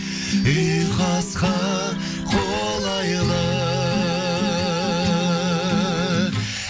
ұйқасқа қолайлы